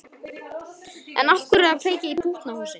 En af hverju að kveikja í pútnahúsi?